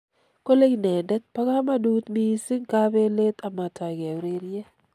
Kole inendet pa kamanut missing kapelet amataike ureriet.